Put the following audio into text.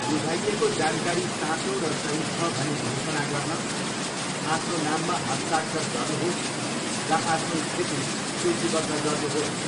बुझाइएको जानकारी साँचो र सही छ भनी घोषणा गर्न आफ्नो नाममा हस्ताक्षर गर्नुहोस् र आफ्नो स्थिति सूचीबद्ध गर्नुहोस्।